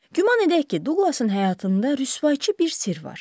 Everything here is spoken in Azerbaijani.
Güman edək ki, Duqlasın həyatında rüsvayçı bir sirr var.